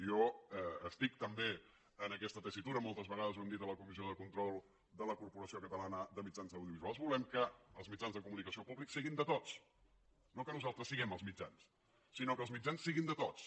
jo estic també en aquesta tessitura moltes vegades ho hem dit a la comissió de control de la corporació catalana de mitjans audiovisuals volem que els mitjans de comunicació públics siguin de tots no que nosaltres siguem els mitjans sinó que els mitjans siguin de tots